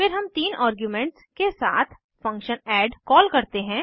फिर हम तीन आर्ग्यूमेंट्स के साथ फंक्शन ऐड कॉल करते हैं